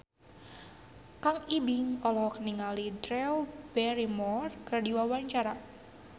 Kang Ibing olohok ningali Drew Barrymore keur diwawancara